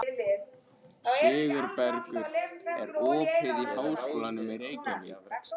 Sigurbergur, er opið í Háskólanum í Reykjavík?